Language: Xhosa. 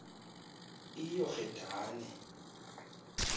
iyorhedane